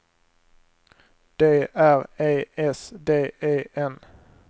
D R E S D E N